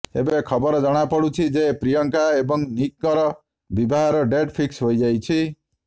ଏବେ ଖବର ଜଣାପଡୁଛି ଯେ ପ୍ରିୟଙ୍କା ଏବଂ ନିକଙ୍କର ବିବାହର ଡେଟ ଫିକ୍ସ ହୋଇଯାଇଛି